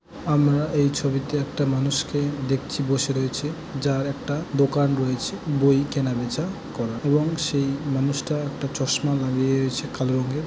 আমরা এই ছবিতে একটা মানুষকে দেখছি বসে রয়েছে যার একটা দোকান রয়েছে বই কেনাবেচা করা । এবং সেই মানুষটা একটা চশমা লাগিয়েছে কালো রঙের ।